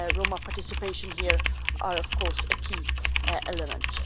Roma participation here is, of course, a key element.